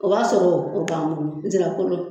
O b'a sɔrɔ o b'an bolo nsira kolo